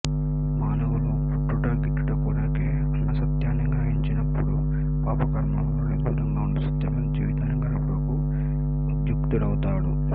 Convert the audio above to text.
మానవులు పుట్టుట గిట్టుట కొరకే అన్న సత్యాన్ని గ్రహించినపుడు పాప కర్మములనుండి దూరంగా ఉంటూ సత్యమైన జీవితాన్ని గడుపుటకు ఉద్యుక్తుడౌతాడు